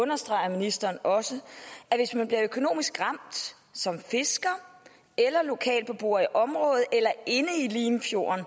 understreger ministeren også at hvis man bliver ramt økonomisk som fisker eller lokalbeboer i området eller inde i limfjorden